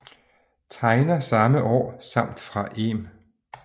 Tegner samme år samt fra Em